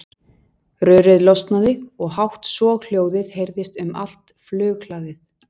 Rörið losnaði og hátt soghljóðið heyrðist um allt flughlaðið.